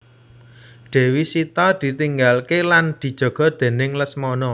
Dewi Sita ditinggalke lan dijaga déning Lesmana